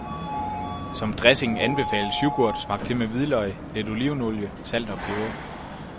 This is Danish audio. Som dressing anbefales yoghurt smagt til med hvidløg, lidt olivenolie, salt og peber.